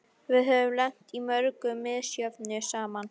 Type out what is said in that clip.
Við höfum lent í mörgu misjöfnu saman.